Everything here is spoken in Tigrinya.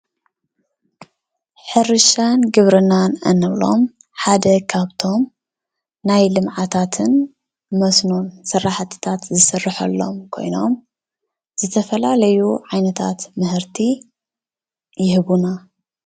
ሕርሻን ግብርናን እንብሎም ሓደ ካብቶም ናይ ልምዓታትን መስኖ ስራሕቲታት ዝስረሐሎም ኮይኖም ዝተፈላለዩ ዓይነታት ምህርቲ ይህቡና።